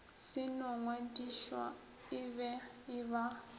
se no ngwadišwa e ba